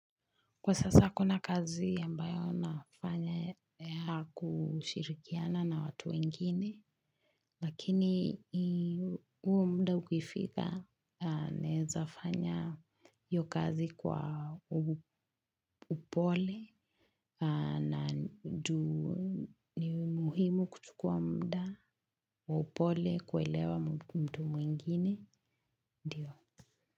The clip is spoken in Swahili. Kwa sasa hakuna kazi ambayo nafanya ya kushirikiana na watu wengine, lakini huo mda ukifika, nezafanya iyo kazi kwa upole, na juu ni muhimu kuchukua mda, kwa upole, kuelewa mtu mwingine, ndio.